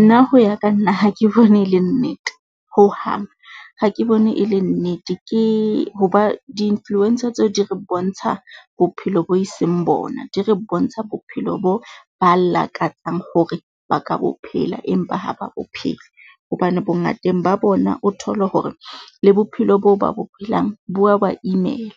Nna ho ya ka nna ha ke bone e le nnete hohang ha ke bone e le nnete. Ke ho ba di-influencer tseo di re bontsha bophelo bo e seng bona. Di re bontsha bophelo boo ba lakatsang hore ba ka bo phela empa ha ba bo phele, hobane bongateng ba bona o thole hore le bophelo boo ba bo phelang, bo a ba imela.